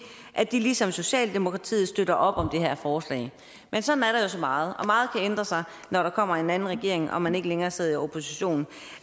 at de ligesom socialdemokratiet støtter op om det her forslag men sådan er der jo så meget og meget kan ændre sig når der kommer en anden regering og man ikke længere sidder i opposition